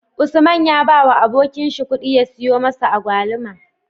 Usman ya bawa abokin shi kudi ya siyo musu agwaluma